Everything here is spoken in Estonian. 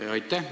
Aitäh!